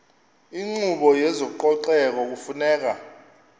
inkqubo yezococeko kufuneka